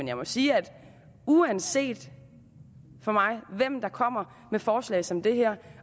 jeg må sige at uanset hvem der kommer med forslag som det her